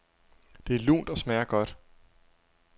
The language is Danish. Det er lunt og smager godt.